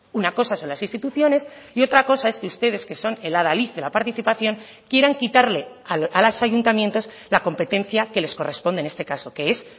una cosa son las instituciones y otra cosa es que ustedes que son el adalid de la participación quieran quitarle a los ayuntamientos la competencia que les corresponde en este caso que es